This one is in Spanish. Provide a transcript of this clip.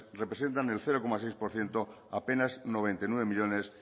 representan el cero coma seis por ciento apenas noventa y nueve millónes